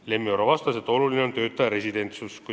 Lemmi Oro vastas, et oluline on tööandja residentsus.